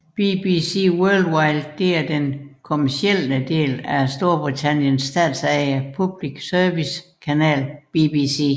BBC Worldwide er den kommercielle del af Storbritanniens statsejede public service kanal BBC